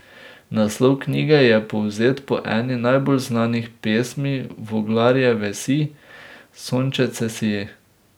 Naslov knjige je povzet po eni najbolj znanih pesmic Voglarjeve Sij, sončece, sij.